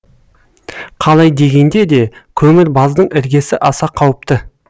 қалай дегенде де көмір баздың іргесі аса қауіпті